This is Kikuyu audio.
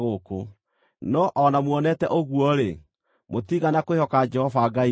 No o na muonete ũguo-rĩ, mũtiigana kwĩhoka Jehova Ngai wanyu,